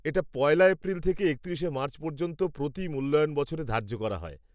এটা পয়লা এপ্রিল থেকে একত্রিশে মার্চ পর্যন্ত প্রতি মূল্যায়ন বছরে ধার্য করা হয়।